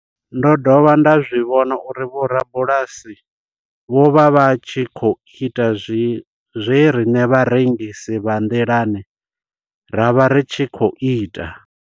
Ndo dovha nda zwi vhona uri vhorabulasi vho vha vha tshi khou ita zwe riṋe vharengisi vha nḓilani ra vha ri tshi khou ita.